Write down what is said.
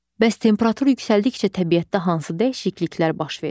Bəs temperatur yüksəldikcə təbiətdə hansı dəyişikliklər baş verir?